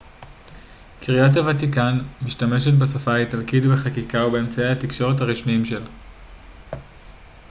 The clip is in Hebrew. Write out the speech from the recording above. קריית הוותיקן משתמשת בשפה האיטלקית בחקיקה ובאמצעי התקשורת הרשמיים שלה